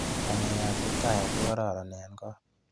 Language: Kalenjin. Ng'alekab Kiptayat ko koron eng kot.